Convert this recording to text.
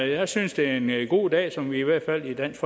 jeg synes det er en god dag som vi i hvert fald i dansk